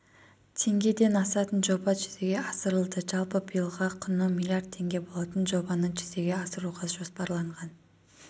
теңгеден асатын жоба жүзеге асырылды жалпы биылға құны миллиард теңге болатын жобаны жүзеге асыруға жоспарланған